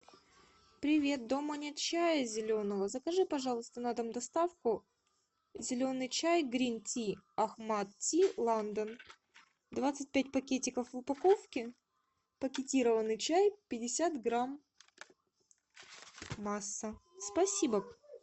привет дома нет чая зеленого закажи пожалуйста на дом доставку зеленый чай грин ти ахмад ти ландон двадцать пять пакетиков в упаковке пакетированный чай пятьдесят грамм масса спасибо